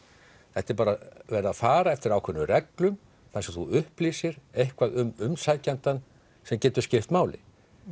þetta er bara verið að fara eftir ákveðnum reglum þar sem þú upplýsir eitthvað um umsækjandann sem getur skipt máli